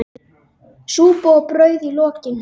Súpa og brauð í lokin.